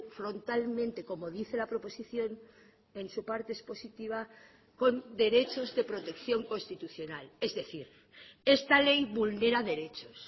frontalmente como dice la proposición en su parte expositiva con derechos de protección constitucional es decir esta ley vulnera derechos